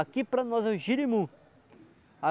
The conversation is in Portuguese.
Aqui para nós é jirimu.